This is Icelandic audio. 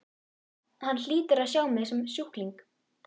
Hann hlýtur að sjá mig sem sjúkling.